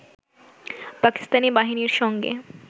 পাকিস্তানি বাহিনীর সঙ্গে